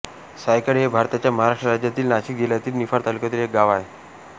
सायखेडे हे भारताच्या महाराष्ट्र राज्यातील नाशिक जिल्ह्यातील निफाड तालुक्यातील एक गाव आहे